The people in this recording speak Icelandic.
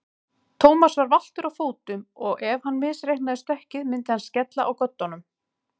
Thomas var valtur á fótum og ef hann misreiknaði stökkið myndi hann skella á göddunum.